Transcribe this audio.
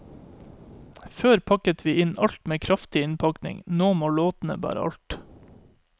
Før pakket vi inn alt med kraftig innpakning, nå må låtene bære alt.